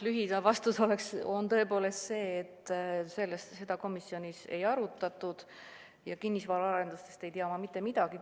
Lühivastus oleks see, et seda komisjonis ei arutatud ja kinnisvaraarendustest ei tea ma mitte midagi.